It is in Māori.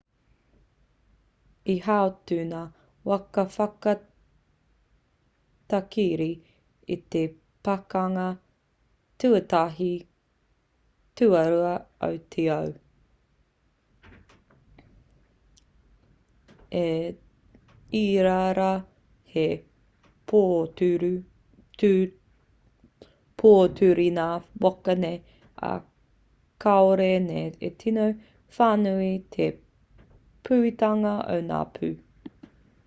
i hautū ngā waka whakatakere i te pakanga tuatahi/tuarua o te ao. i ērā rā he pōturi ngā waka nei ā kāore nei e tino whānui te pūhitanga o ngā pū